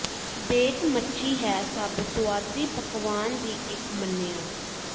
bake ਮੱਛੀ ਹੈ ਸਭ ਸੁਆਦੀ ਪਕਵਾਨ ਦੀ ਇੱਕ ਮੰਨਿਆ